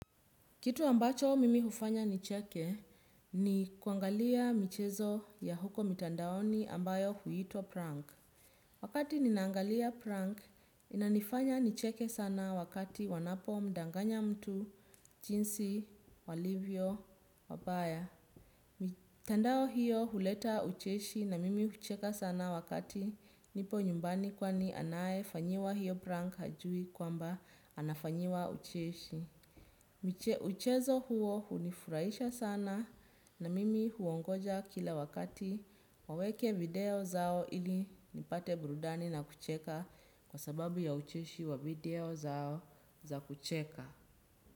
Kitu ambacho mimi hufanya nicheke ni kuangalia michezo ya huko mitandaoni ambayo huitwa prank. Wakati ninaangalia prank inanifanya nicheke sana wakati wanapomdanganya mtu, jinsi, walivyo, wabaya. Mitandao hiyo huleta ucheshi na mimi hucheka sana wakati nipo nyumbani kwani anayefanyiwa hiyo prank hajui kwamba anafanyiwa ucheshi. Mchezo huo hunifuraisha sana na mimi huongoja kila wakati waweke video zao ili nipate burudani na kucheka kwa sababu ya ucheshi wa video zao za kucheka.